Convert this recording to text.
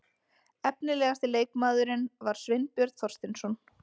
Efnilegasti leikmaðurinn var Sveinbjörn Þorsteinsson.